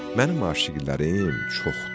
Mənim aşiqələrim çoxdur.